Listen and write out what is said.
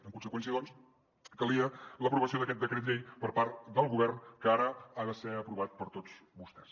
en conseqüència doncs calia l’aprovació d’aquest decret llei per part del govern que ara ha de ser aprovat per tots vostès